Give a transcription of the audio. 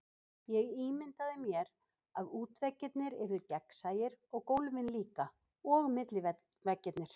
Ég ímyndaði mér, að útveggirnir yrðu gegnsæir, og gólfin líka, og milliveggirnir.